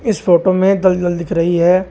इस फोटो में दलदल दिख रही है।